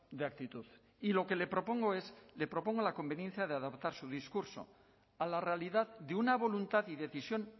de actitud y lo que le propongo es le propongo la conveniencia de adaptar su discurso a la realidad de una voluntad y decisión